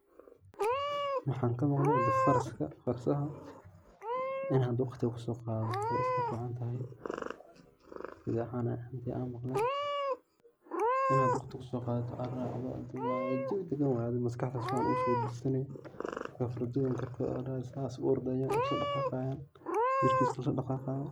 Maxan kamaqlee faraska, farsaha ini waqti kuso qadato way iska ficantahay, sida camal an maqle ina waqti kuso qadato aa larabaa jawi degan waye adi, maskaxda si fican kusibisane, fardoyin korkod aya larabaa asa korkod aya isla dhagaqayan, jirkis aya isla dhagaqaya